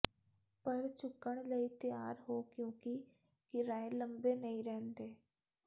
ਪਰ ਝੁਕਣ ਲਈ ਤਿਆਰ ਹੋ ਕਿਉਂਕਿ ਕਿਰਾਏ ਲੰਬੇ ਨਹੀਂ ਰਹਿੰਦੇ